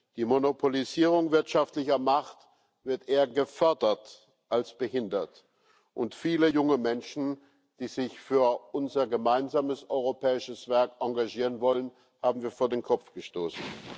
Die Monopolisierung wirtschaftlicher Macht wird eher gefördert als behindert, und viele junge Menschen, die sich für unser gemeinsames europäisches Werk engagieren wollen, haben wir vor den Kopf gestoßen.